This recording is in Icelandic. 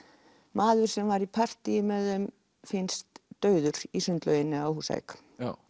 maður sem var í partýi með þeim finnst dauður í sundlauginni á Húsavík